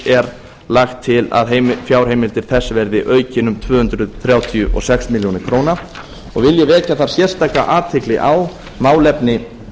er lagt til að fjárheimild þess verði aukin um tvö hundruð þrjátíu og sex ár vil ég vekja þar sérstaka athygli á málefni